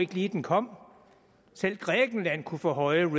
den kom selv grækenland kunne få høje